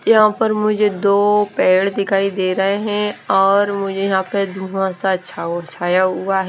यहां पर मुझे दो पैर दिखाई दे रहे हैं और मुझे यहां पर धुवासा छा छाया हुआ है।